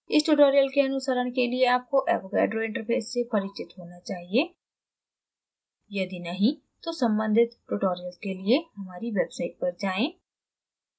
इस tutorial के अनुसरण के लिए आपको avogadro interface से परिचित होना चाहिए